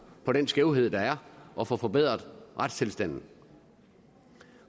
på den skævhed der er og få forbedret retstilstanden